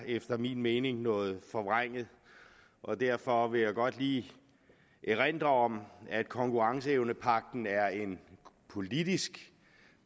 efter min mening er noget forvrænget og derfor vil jeg godt lige erindre om at konkurrenceevnepagten er en politisk